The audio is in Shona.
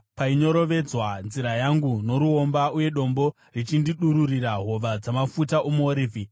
painyorovedzwa nzira yangu noruomba, uye dombo richindidururira hova dzamafuta omuorivhi.